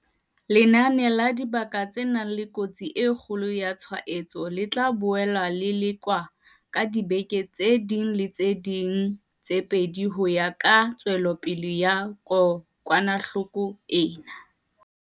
Lenane la dibaka tse nang le kotsi e kgolo ya tshwaetso le tla boela le lekolwa ka diveke tse ding le tse ding tse pedi ho ya ka tswelopele ya kokwanahloko ena.